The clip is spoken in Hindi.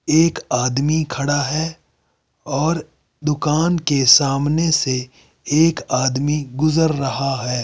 एक आदमी खड़ा है और दुकान के सामने से एक आदमी गुजर रहा है।